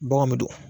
Baganw bɛ don